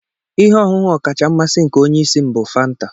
Ihe ọṅụṅụ ọkacha mmasị nke onye isi m bụ Fanta